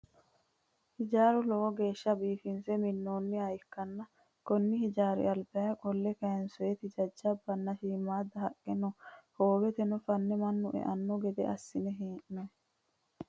Hijaara lowo geeshsha biifinse minnonniha ikkanna konni hijaari albaa qolle kayiinsoyiiti jajjabanna shiimmadda haqqe no? Hooweno fanne mannu e"awo gede assine hee'noyi.